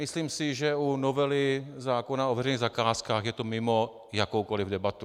Myslím si, že u novely zákona o veřejných zakázkách je to mimo jakoukoli debatu.